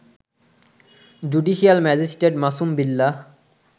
judicial magistrate Masum Billah